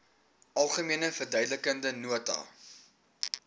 algemene verduidelikende nota